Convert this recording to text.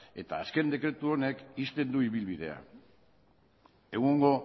eta azken dekretu honek ixten du ibilbidea egungo